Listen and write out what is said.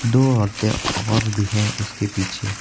दो औरतें और भी हैं उसके पीछे।